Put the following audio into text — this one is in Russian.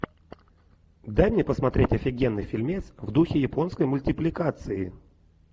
дай мне посмотреть офигенный фильмец в духе японской мультипликации